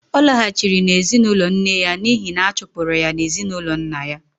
Ọ laghachiri na ezinụlọ nne ya n'ihi na a chụpụrụ ya n'ezinụlọ nna ya